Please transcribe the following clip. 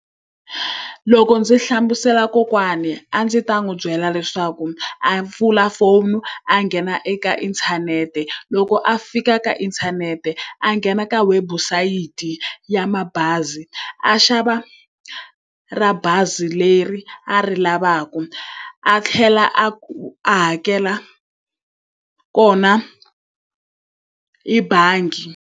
Loko ndzi hlamusela kokwani a ndzi ta n'wi byela leswaku a pfula foni a nghena eka inthanete. Loko a fika ka inthanete a nghena ka webusayiti ya ya mabazi, a xava ra bazi leri a ri lavaka a tlhela a ku a hakela kona hi bangi.